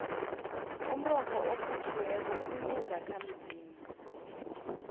umrorho orhutjhiweko unezakhamzimba